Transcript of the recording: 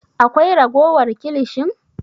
Akwai ragowar kilishin?